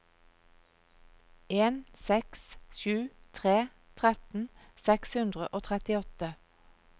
en seks sju tre tretten seks hundre og trettiåtte